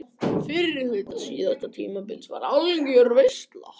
Fyrri hluti síðasta tímabils var algjör veisla.